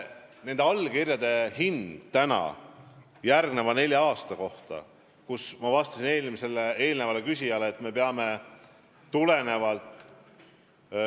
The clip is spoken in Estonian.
Nende allkirjade hind järgmisel neljal aastal, arvestades sisse ka käesoleva aasta, on, nagu ma märkisin eelmisele küsijale vastates, suurusjärgus 590 miljonit.